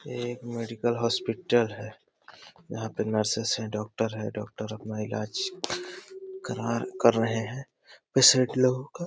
ये एक medical hospital है। यहाँ पे नर्सेस हैं डॉक्टर है डॉक्टर अपना इलाज करा कर रहे हैं पेशेंट लोगों का।